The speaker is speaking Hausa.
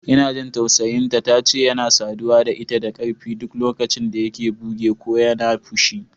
Ina jin tausayin ta, tace yana saduwa da ita da ƙarfi duk lokacin da yake buge ko yana fushi.